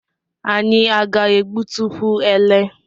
Anyị a ga-egbutekwu elé?